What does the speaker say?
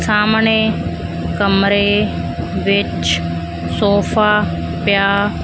ਸਾਹਮਣੇ ਕਮਰੇ ਵਿੱਚ ਸੋਫਾ ਪਿਆ--